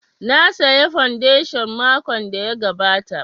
Na saya fondation makon da ya gabata